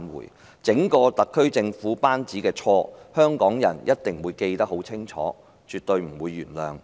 對於整個特區政府班子的錯，香港人一定會記得很清楚，是絕對不會原諒的。